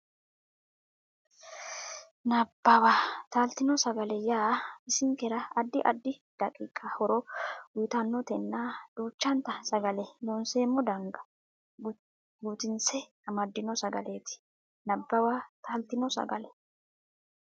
Nabbawa Taaltino sagale yaa bisinkera addi addi daqiiqa horo uytannotenna duuchanta sagalete Loonseemmo dana guutisse amaddino sagaleeti Nabbawa Taaltino sagale.